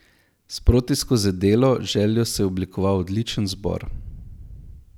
Sproti skozi delo, željo se je oblikoval odličen zbor.